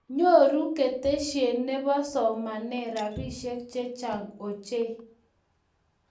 Nyoru keteshie ne bo somanee robishe che chang ochei.